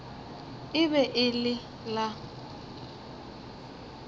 e be e le la